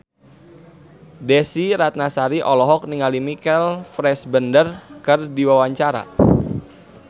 Desy Ratnasari olohok ningali Michael Fassbender keur diwawancara